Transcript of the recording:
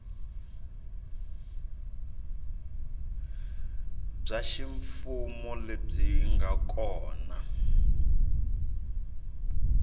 bya ximfumo lebyi nga kona